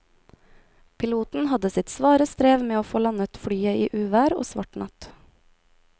Piloten hadde sitt svare strev med å få landet flyet i uvær og svart natt.